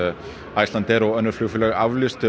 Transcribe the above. Icelandair og önnur flugfélög